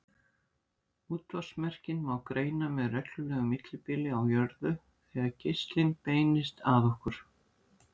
Útvarpsmerkin má greina með reglulegu millibili á jörðu þegar geislinn beinist að okkur.